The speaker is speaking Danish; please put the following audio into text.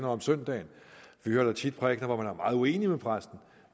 om søndagen jeg hører da tit prædikener er meget uenig med præsten